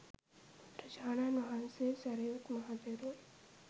බුදුරජාණන් වහන්සේ සැරියුත් මහ තෙරුන්